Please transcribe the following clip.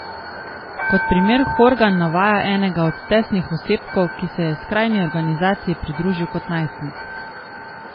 Kot primer Horgan navaja enega od testnih osebkov, ki se je skrajni organizaciji pridružil kot najstnik.